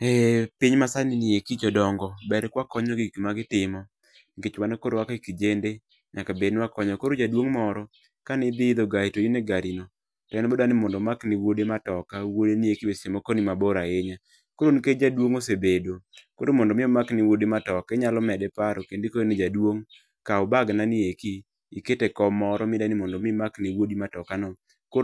Ee piny ma sani nieki jodong'o ber kawakonyo gik ma gitimo nikech kaka kijende nyaka bed ni wakonyo, koro jadwong' moro kane dhi idho gar to in e gari ni ne nodwa ni mondo omak ne wuode matoka no wuode ni eki be seche moko ni mabor ahinya koro nikech jaduong' osebedo koro mondo mi omak ne wuode matoka inyalo mede paro kendo ikone ni jaduong' kaw bagnani eki iket e kom moro midwa ni mondo midwa nimakne wuodi matokano